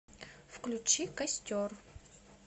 включи костер